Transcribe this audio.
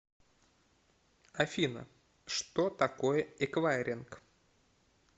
афина что такое эквайринг